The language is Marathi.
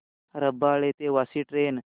रबाळे ते वाशी ट्रेन